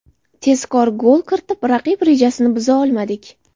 Tezkor gol kiritib, raqib rejasini buza olmadik.